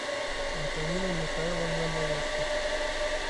антонина михайловна малышко